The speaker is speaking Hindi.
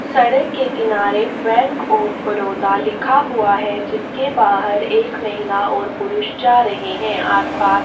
सड़क के किनारे बैंक ऑफ़ बड़ोदा लिखा हुआ है जिसके बाहर एक महीला और पुरुष जा रहे हैं आसपास --